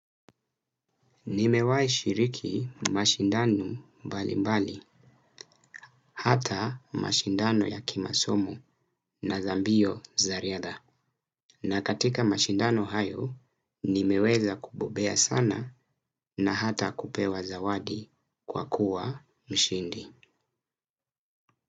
Nimewahi shiriki mashindano mbali mbali, hata mashindano ya kimasomo na za mbio za riadha. Na katika mashindano hayo, nimeweza kubobea sana na hata kupewa zawadi kwa kuwa mshindi.